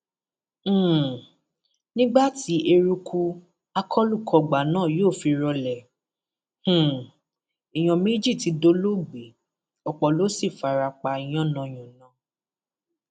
um nígbà tí eruku akólukògbá náà yóò fi rọlẹ um èèyàn méjì tí dolóògbé opó ló sì fara pa yànnàyànnà